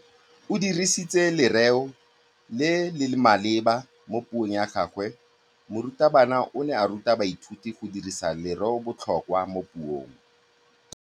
O dirisitse lerêo le le maleba mo puông ya gagwe. Morutabana o ne a ruta baithuti go dirisa lêrêôbotlhôkwa mo puong.